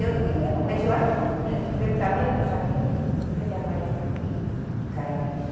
Eu não me lembro, mas eu acho que pelo tamanho do saquinho, devia dar mais do que um quilo de cada vez.